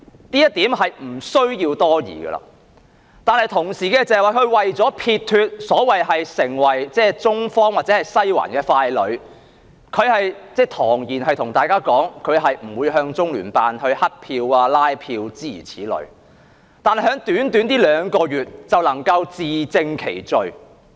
這一點是毋庸置疑的了，但同時，她為了撇脫地成為所謂"中方或西環的傀儡"，堂而皇之地向大家說，她是不會向中聯辦"乞票"、拉票的，諸如此類，可是在短短兩個月內，她便自證其罪。